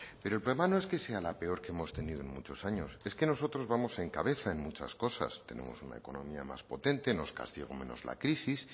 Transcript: pero el problema no es que sea la peor que hemos tenido en muchos años es que nosotros vamos en cabeza en muchas cosas tenemos una economía más potente nos castigó menos la crisis